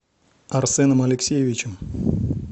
арсеном алексеевичем